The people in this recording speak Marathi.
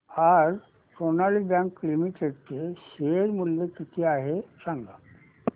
आज सोनाली बँक लिमिटेड चे शेअर मूल्य किती आहे सांगा